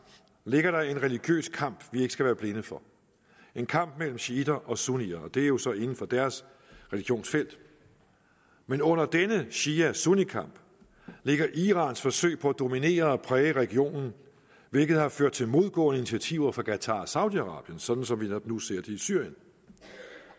ligger der en religiøs kamp vi ikke skal være blinde for en kamp mellem shiitter og sunnier og det er jo så inden for deres religions felt men under denne shia sunni kamp ligger irans forsøg på at dominere og præge regionen hvilket har ført til modgående initiativer fra qatar og saudi arabien sådan som vi netop nu ser det i syrien